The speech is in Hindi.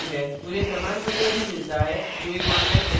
उन्हें प्रमाणपत्र भी मिलता है जो एक online test pass करते हैं